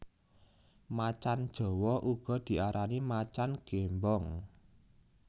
Macan jawa uga diarani macan gémbong